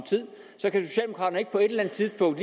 tidspunkt